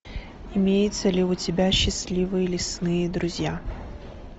имеется ли у тебя счастливые лесные друзья